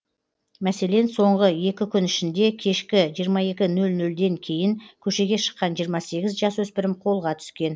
мәселен соңғы екі күн ішінде кешкі жиырма екі нөл нөлден кейін көшеге шыққан жиырма сегіз жасөспірім қолға түскен